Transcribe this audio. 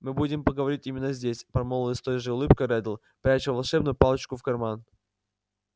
мы будем поговорить именно здесь промолвил с той же улыбкой реддл пряча волшебную палочку в карман